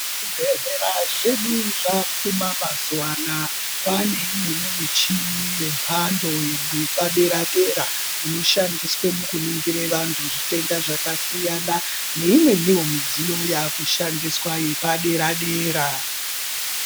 Zvibhedhlera zvedu zvapfuma mazuva anawa pane imweni michina yemhando yepadera dera inoshandiswa kudetsera vantu midziyo zvakasiyana siyana neimweni zvitenda yakushandiswa yepadera dera.